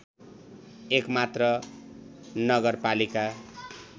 एक मात्र नगरपालिका